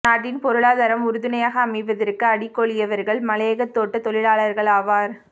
நாட்டின் பொருளாதாரம் உறுதுணையாக அமைவதற்கு அடிகோலியவர்கள் மலையகத் தோட்டத் தொழிலாளர்களாவர்